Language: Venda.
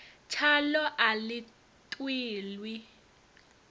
tshaḽo a ḽi ṱwi ḽi